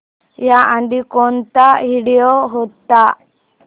याआधी कोणता व्हिडिओ होता